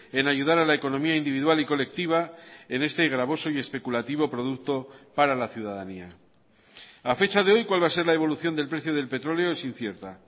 en ayudar a la economía individual y colectiva en este gravoso y especulativo producto para la ciudadanía a fecha de hoy cuál va a ser la evolución del precio del petróleo es incierta